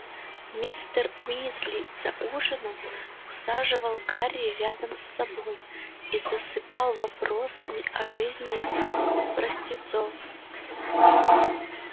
мистер уизли за ужином усаживал гарри рядом с собой и засыпал вопросами о жизни простецов